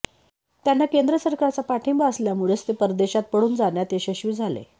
त्यांना केंद्र सरकारचा पाठिंबा असल्यामुळेच ते परदेशात पळून जाण्यात यशस्वी झाले